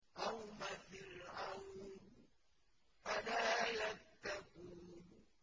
قَوْمَ فِرْعَوْنَ ۚ أَلَا يَتَّقُونَ